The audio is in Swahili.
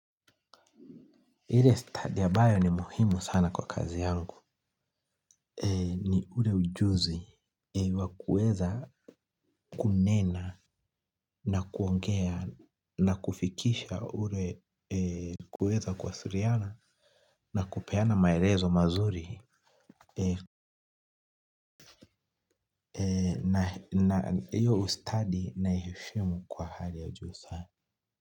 Ile study ambayo ni muhimu sana kwa kazi yangu. Ule ujuzi wa kuweza kunena na kuongea na kufikisha ule kuweza kuwasiliana na kupeana maelezo mazuri. Hiyo ustadi naiheshimu kwa hali ya juu sana.